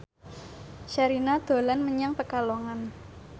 Sherina dolan menyang Pekalongan